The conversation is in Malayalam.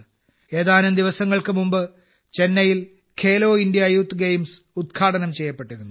ഏതാനും ദിവസങ്ങൾക്ക് മുമ്പ് ചെന്നൈയിൽ ഖേലോ ഇന്ത്യ യൂത്ത് ഗെയിംസ് ഉദ്ഘാടനം ചെയ്യപ്പെട്ടിരുന്നു